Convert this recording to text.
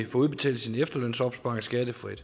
udbetalt sin efterlønsopsparing skattefrit